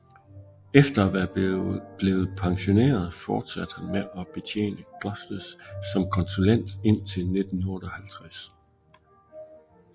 Efter at være blevet pensioneret fortsatte han med at betjene Glosters som konsulent indtil 1958